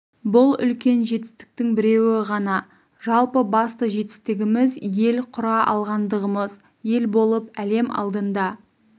бұл үлкен жетістіктің біреуі ғана жалпы басты жетістігіміз ел құра алғандығымыз ел болып әлем алдында